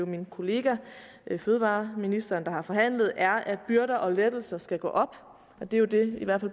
min kollega fødevareministeren har forhandlet er at byrder og lettelser skal gå op det er jo det i hvert